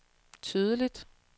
tydeligt